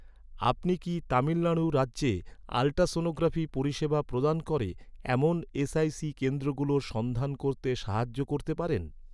আপনি কি তামিলনাড়ু রাজ্যে আল্ট্রাসনোগ্রাফি পরিষেবা প্রদান করে, এমন এস.আই.সি কেন্দ্রগুলোর সন্ধান করতে সাহায্য করতে পারেন?